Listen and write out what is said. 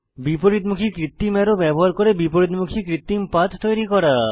বিপরীতমুখী কৃত্রিম অ্যারো ব্যবহার করে বিপরীতমুখী কৃত্রিম পাথ তৈরী করা